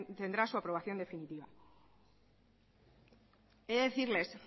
tendrá su aprobación definitiva he de decirles